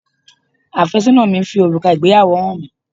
Àfẹ́sọ́nà mi fi òrùka ìgbéyàwó hàn mi